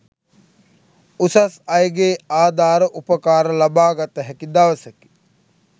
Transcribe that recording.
උසස් අයගේ ආධාර උපකාර ලබාගත හැකි දවසකි.